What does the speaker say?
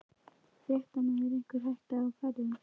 Fréttamaður: Einhver hætta á ferðum?